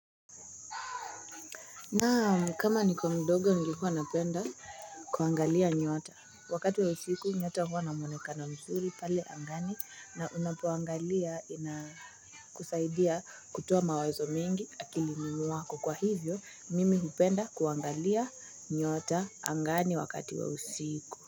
Naam, kama niko mdogo nilikuwa napenda kuangalia nyota wakati wa usiku nyota huwa na mwoneka mzuri pale angani na unpoangalia inakusaidia kutoa mawazo mengi akilini mwako kwa hivyo mimi hupenda kuangalia nyota angani wakati wa usiku.